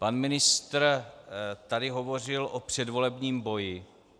Pan ministr tady hovořil o předvolebním boji.